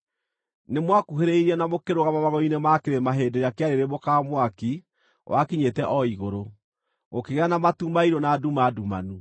Nĩmwakuhĩrĩirie na mũkĩrũgama magũrũ-inĩ ma kĩrĩma hĩndĩ ĩrĩa kĩarĩrĩmbũkaga mwaki wakinyĩte o igũrũ, gũkĩgĩa na matu mairũ na nduma ndumanu.